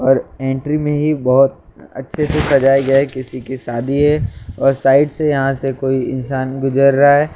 और एंट्री में ही बहुत अच्छे से सजाया गया है किसी की सादी है और साइड से यहाँ से कोई इंसान गुजर रहा है और--